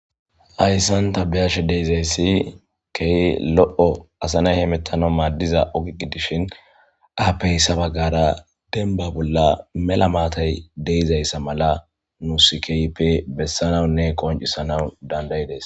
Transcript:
Hayssan ta beyashe de'izaysi key lo'o asa nay hemettanawu maaddiza oge gidishin appe hessa baggara denba bolla mela maatay de'izayssa mala nusi keehippe bessanawunne qoncisanawu dandayides.